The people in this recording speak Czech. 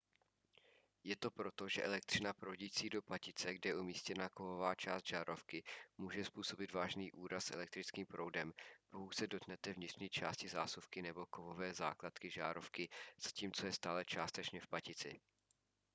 je to proto že elektřina proudící do patice kde je umístěna kovová část žárovky může způsobit vážný úraz elektrickým proudem pokud se dotknete vnitřní části zásuvky nebo kovové základny žárovky zatímco je stále částečně v patici